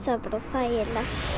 þægilegt